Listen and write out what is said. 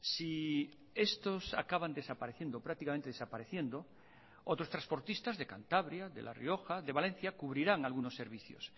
si estos acaban desapareciendo prácticamente desapareciendo otros transportistas de cantabria de la rioja de valencia cubrirán algunos servicios